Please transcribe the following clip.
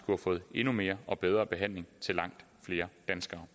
have fået endnu mere og bedre behandling til langt flere danskere